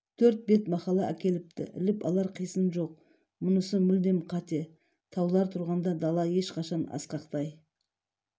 төрт бет мақала әкеліпті іліп алар қисын жоқ мұнысы мүлдем қате таулар тұрғанда дала ешқашан асқақтай